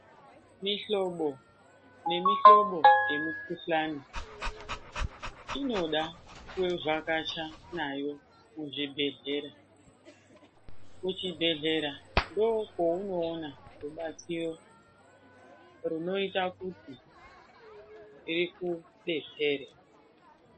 Mihlobo nemihlobo yemikhuhlane inoda kuvhakacha nayo muzvibhedhlera. Kuchibhedhlera ndokweunoona rubatsiro runoita kuti ikudetsere.